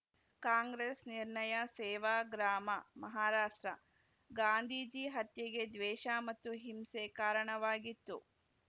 ಕಾಂಗ್ರೆಸ್‌ ನಿರ್ಣಯ ಸೇವಾಗ್ರಾಮ ಮಹಾರಾಷ್ಟ್ರ ಗಾಂಧೀಜಿ ಹತ್ಯೆಗೆ ದ್ವೇಷ ಮತ್ತು ಹಿಂಸೆ ಕಾರಣವಾಗಿತ್ತು